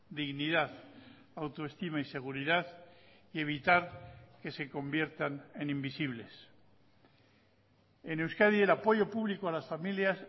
dignidad autoestima y seguridad y evitar que se conviertan en invisibles en euskadi el apoyo público a las familias